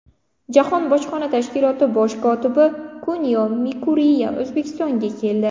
Jahon bojxona tashkiloti bosh kotibi Kunio Mikuriya O‘zbekistonga keldi.